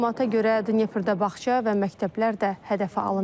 Məlumata görə, Dneprdə bağça və məktəblər də hədəfə alınıb.